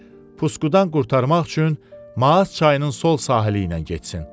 pusqudan qurtarmaq üçün Maas çayının sol sahili ilə getsin.